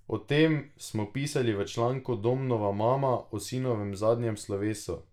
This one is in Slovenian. O tem smo pisali v članku Domnova mama o sinovem zadnjem slovesu.